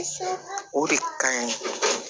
O de ka ɲi